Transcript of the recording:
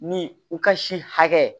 Ni u ka si hakɛ